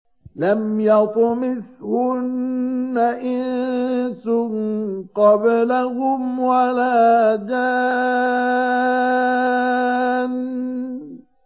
لَمْ يَطْمِثْهُنَّ إِنسٌ قَبْلَهُمْ وَلَا جَانٌّ